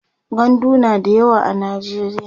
gandu na da yawa a najeriya